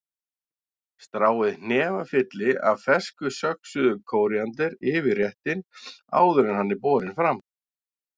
Stráið hnefafylli af fersku söxuðu kóríander yfir réttinn áður en hann er borinn fram.